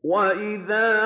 وَإِذَا